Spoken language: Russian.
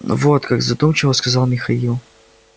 вот как задумчиво сказал михаил